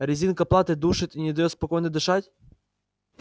резинка платы душит и не даёт спокойно дышать